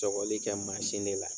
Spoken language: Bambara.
Tɔkɔli kɛ mansin de la.